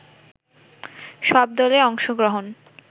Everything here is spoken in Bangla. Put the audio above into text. সব দলের অংশগ্রহণ